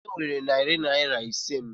Onye werela narị naira ise m?